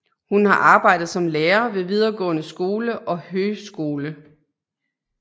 Hun har arbejdet som lærer ved videregående skole og høgskole